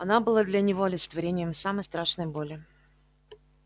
она была для него олицетворением самой страшной боли